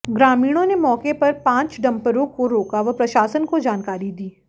ग्रामीणों ने मौके पर पांच डंपरों को रोका व प्रशासन को जानकारी दी